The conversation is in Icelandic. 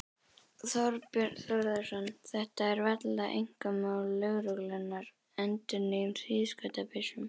Þorbjörn Þórðarson: Þetta er varla einkamál lögreglunnar, endurnýjun á hríðskotabyssum?